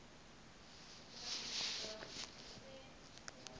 o ile a ema ka